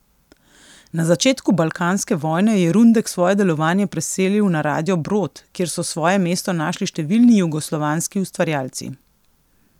Na začetku balkanske vojne je Rundek svoje delovanje preselil na Radio Brod, kjer so svoje mesto našli številni jugoslovanski ustvarjalci.